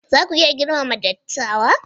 Za ku iya girmama dattawa?